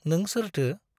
नों सोरथो ?